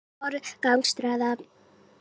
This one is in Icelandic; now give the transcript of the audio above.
Verður að forgangsraða þrátt fyrir þrengingar